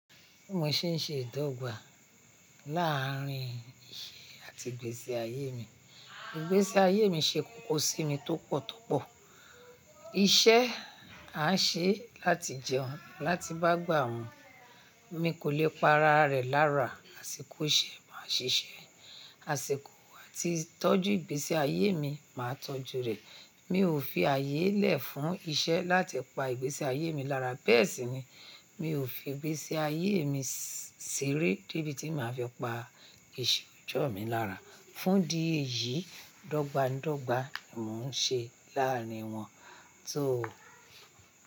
Mo ṣe ń ṣe ìdọ́gba láàárín iṣẹ́ àti ìgbésí ayé mi. Ìgbésí ayé mi ṣe kókó sí mi tó pọ̀ tó pọ̀. Iṣẹ́ an ṣe láti jẹun, láti bá gbà mù. Mi kò lè pa ara rẹ̀ lára, àsìkò iṣẹ́ máa ṣiṣẹ́, àsìkò àti tọ́jú ìgbésí ayé mi máa tọ́jú rẹ̀. Mi ò fi ayé lẹ̀ fún iṣẹ́ láti pa ìgbésí ayé mi lára. Bẹ́ẹ̀ sì ni mi ò fi ìgbésí ayé mi ṣeré débi tí màá fi pa ìṣẹ́ ọjọ́ mi lára. Fún idi èyí, dọ́gba n dọ́gba ni mò ń ṣe láàárín wọn tó.